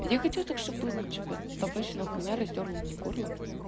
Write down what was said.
я хочу так чтобы табачная хуйня растёрла мне горло